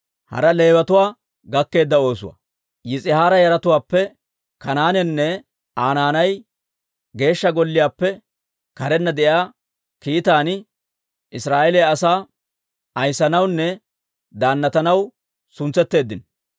Yis'ihaara yaratuwaappe Kanaanenne Aa naanay Geeshsha Golliyaappe karenna de'iyaa kiitan Israa'eeliyaa asaa ayissanawunne daannatanaw suntsetteeddino.